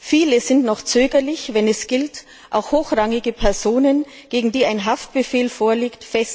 Viele sind noch zögerlich, wenn es gilt, hochrangige Personen festzunehmen, gegen die ein Haftbefehl vorliegt.